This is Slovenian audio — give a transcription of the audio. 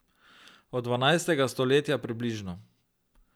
Od dvanajstega stoletja približno.